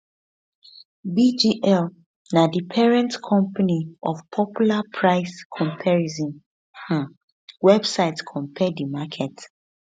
bgl na di parent company of popular price comparison um website compare the market